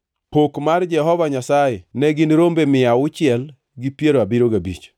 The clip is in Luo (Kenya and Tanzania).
pok mar Jehova Nyasaye ne gin rombe mia auchiel gi piero abiriyo gabich (675);